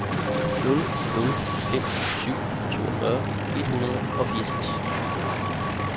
nul nul fem syv toogfyrre et hundrede og fireogtres